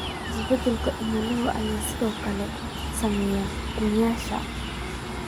Isbeddelka cimilada ayaa sidoo kale saameyn ku yeeshay